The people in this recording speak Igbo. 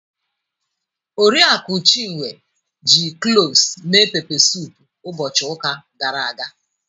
Oriakụ Chinwe ji cloves mee pepe suup ụbọchị ụka gara aga.